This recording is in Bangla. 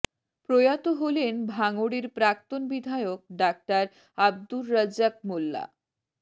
প্রয়াত হলেন ভাঙড়ের প্রাক্তন বিধায়ক ডাঃ আব্দুর রাজ্জাক মোল্লা